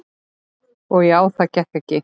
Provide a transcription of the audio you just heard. Og já, það gekk ekki.